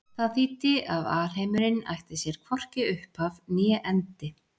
Það þýddi að alheimurinn ætti sér hvorki upphaf né endi.